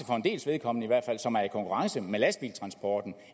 for en dels vedkommende er i konkurrence med lastbiltransporten